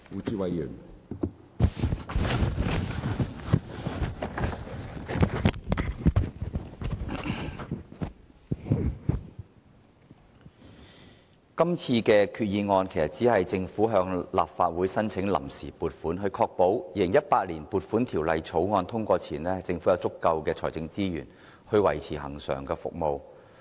主席，就這項決議案，政府其實只是向立法會申請臨時撥款，以確保在《2018年撥款條例草案》通過前，政府能有足夠的財政資源維持其恆常服務。